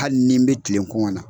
Hali ni n bɛ tilen kɔngɔ na.